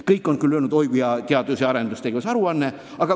Kõik on öelnud, et oi kui hea teadus- ja arendustegevuse aruanne, aga ...